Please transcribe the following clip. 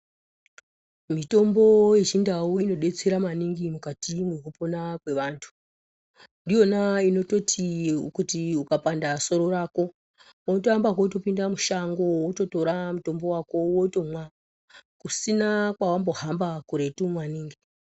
Mitombo yechindu inodetsera maningi pakupona kwevantu ndiyona yekutoti yekuti ukapanda soro rako unotoamba kutopinda mushango wototora mutombo wako wotomwa kusina kwawambo hamba kuretu maningi.